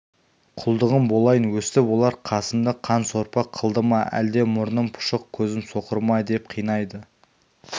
құлдығың болайын өстіп олар қасымды қан сорпа қылды әлде мұрным пұшық көзім соқыр ма деп қинайды